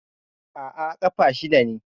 Aa, ƙafa shida ce